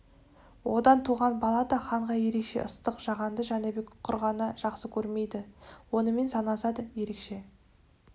одан туған бала да ханға ерекше ыстық жағанды жәнібек құр ғана жақсы көрмейді оныменен санасады ерекше